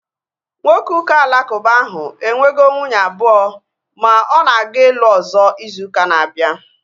Nwoke ụka alakuba ahu enwego nwunye abụọ ma ọ na-aga ịlụ ọzọ izu ụka na-abịa